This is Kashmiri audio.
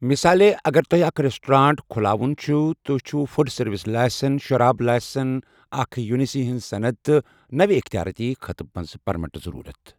مِثالے ،اگر توہیہِ اكھ ریسٹورینٹ كھلاوان چھِو ، تو ہیہ چھو فُڈ سروِس لاسن ، شراب لاسن ، اَکھ یوٗپینسی ہنز صند تہٕ نوِ یختیارٲتی خطہٕ باپت پرمِٹ ضرورت۔